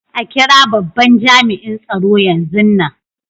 A kira babban jami'in tsaro yanzun nan.